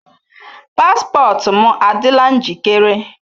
Paspọtụ m adịla njikere?